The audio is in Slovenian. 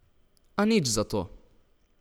A nič zato!